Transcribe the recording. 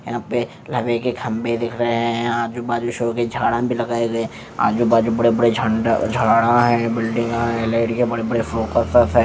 यहाँ पे लावे के खम्भे दिख रहे है आजू बाजू शो की झाडा भी लगाये गये है आजू बाजू बड़े बड़े जंड झाडा है बिल्डिंगा है लाइट के बड़े बड़े फोकस है।